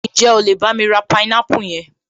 Ǹjẹ́ o lè bámi ra àwọn pineapple yẹn?